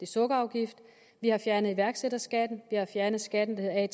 sukkerafgift vi har fjernet iværksætterskatten vi har fjernet skatten der er i